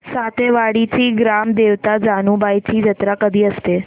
सातेवाडीची ग्राम देवता जानुबाईची जत्रा कधी असते